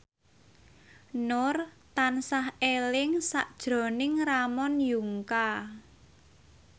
Nur tansah eling sakjroning Ramon Yungka